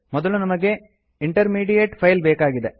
ಮೊದಲು ನಮಗೆ intermediate file ಬೇಕಾಗಿದೆ